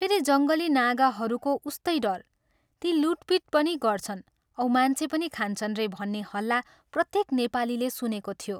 फेरि जङ्गली नागाहरूको उस्तै डर ती लूटपीट पनि गर्छन् औ मान्छे पनि खान्छन् रे भन्ने हल्ला प्रत्येक नेपालीले सुनेको थियो।